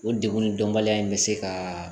O degun in dɔnbaliya in bɛ se ka